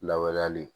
Lawaleyali